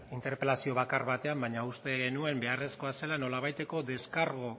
interpelazio bakar batean baina uste nuen beharrezkoa zela nolabaiteko deskargu